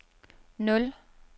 nul